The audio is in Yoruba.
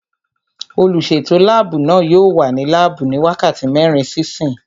Olùsètò láàbù náà yóò wà ní láàbù ní wákàtí mẹ́rin sí ìsín